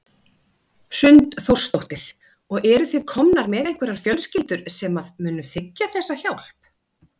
Hrund Þórsdóttir: Og eru þið komnar með einhverjar fjölskyldur sem að munu þiggja þessa hjálp?